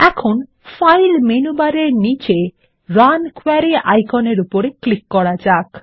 এখন file menu বারের নিচে রান কোয়েরি আইকনের উপর ক্লিক করা যাক